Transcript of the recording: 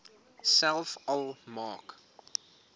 selfs al maak